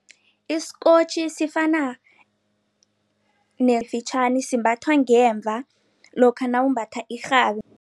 Isikotjhi sifana fitjhani, simbathwa ngemva lokha nawumbatha irhabi.